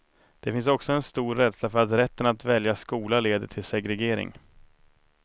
Det finns också en stor rädsla för att rätten att välja skola leder till segregering.